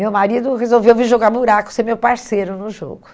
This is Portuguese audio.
Meu marido resolveu vir jogar buraco, ser meu parceiro no jogo.